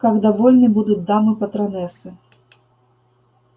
как довольны будут дамы-патронессы